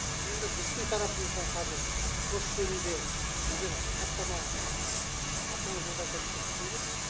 енді біздің тарапымыздан қазір осы жөнінде біздер хаттама автомобиль жолдары комитетіне жібереміз